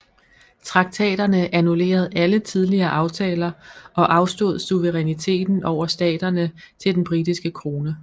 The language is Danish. Traktaterne annullerede alle tidligere aftaler og afstod suveræniteten over staterne til den britiske krone